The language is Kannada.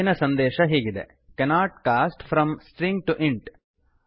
ತಪ್ಪಿನ ಸಂದೇಶ ಹೀಗಿದೆ cannot cast from string to int